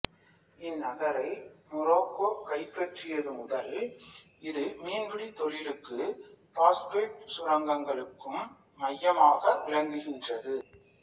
இந்நகரை Morocco கைப்பற்றியது முதல் இது மீன்பிடித் தொழிலுக்கும் பாசுபேட்டு சுரங்கங்களுக்கும் மையமாக விளங்குகின்றது